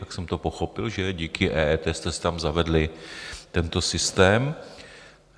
Tak jsem to pochopil, že díky EET jste si tam zavedli tento systém.